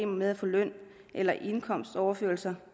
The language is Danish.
med at få løn eller indkomstoverførsler